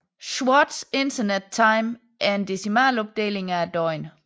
Swatch Internet Time er en decimalopdeling af døgnet